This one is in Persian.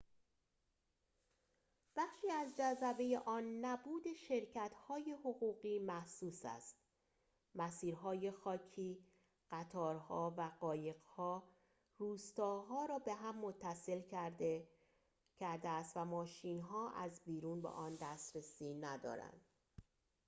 بخشی از جذبه آن نبود شرکت‌های حقوقی محسوس است مسیرهای خاکی قطارها و قایق‌ها روستاها را به هم متصل کرده است و ماشین‌ها از بیرون به آن دسترسی ندارند